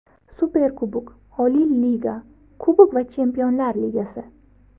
Superkubok, oliy liga, kubok va Chempionlar Ligasi.